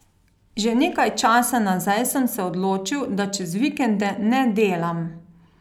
Že nekaj časa nazaj sem se odločil, da čez vikende ne delam.